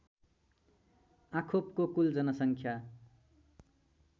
आँखोपको कुल जनसङ्ख्या